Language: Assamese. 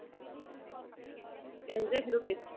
exact সেইটো test